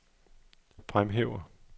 fremhæver